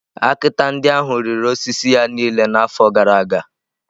Akịta ndị ahụ riri osisi ya niile n’afọ gara aga.